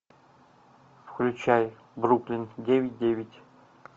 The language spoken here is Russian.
включай бруклин девять девять